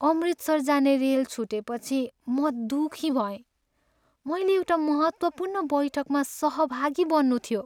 अमृतसर जाने रेल छुटेपछि म दुखी भएँ, मैले एउटा महत्त्वपूर्ण बैठकमा सहभागी बन्नु थियो।